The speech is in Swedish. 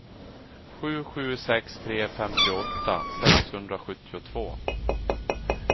sju sju sex tre femtioåtta sexhundrasjuttiotvå